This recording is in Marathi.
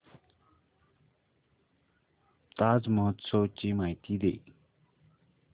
ताज महोत्सव ची माहिती दे